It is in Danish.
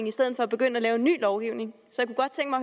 i stedet for at begynde at lave ny lovgivning så